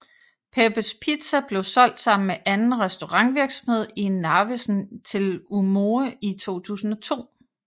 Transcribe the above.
Peppes Pizza blev solgt sammen med anden restaurantvirksomhed i Narvesen til Umoe i 2002